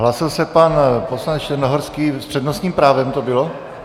Hlásil se pan poslanec Černohorský, s přednostním právem to bylo?